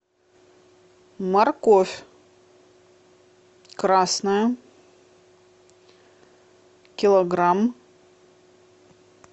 морковь красная килограмм